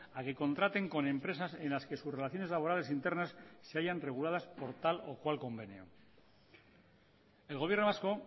a que contraten con empresas en las que sus relaciones laborales internas se hallan reguladas por tal o cual convenio el gobierno vasco